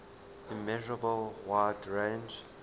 immeasurable wide range